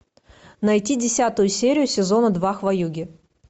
найти десятую серию сезона два хваюги